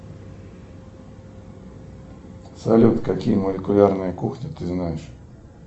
салют какие молекулярные кухни ты знаешь